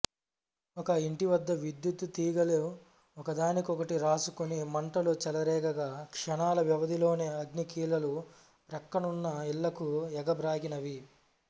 ఒక ఇంటివద్ద విద్యుత్తు తీగెలు ఒకదానికొకటి రాసుకొని మంటలు చెలరేగగా క్షణాల వ్యవధిలోనే అగ్నికీలలు ప్రక్కనున్న ఇళ్ళకు ఎగబ్రాకినవి